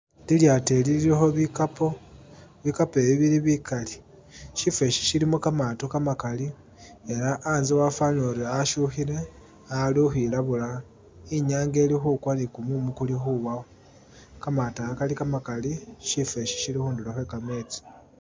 Ilyaato ili lilikho bikaapo, bikaapo ibi bili bikali, shifo ishi shilimo kamaato kamakaali, ela anze afwanile uri ashukhile, aali ukhwilabula, inyanga ili khukwa ne kumumu kuli ukhwilayo, kamaato aka kali kamakali, shifo ishi shili khundulo khwe kametsi.